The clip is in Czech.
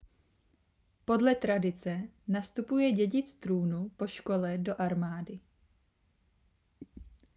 podle tradice nastupuje dědic trůnu po škole do armády